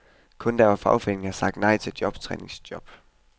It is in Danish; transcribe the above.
Kun der hvor fagforeningerne har sagt nej til jobtræningsjob.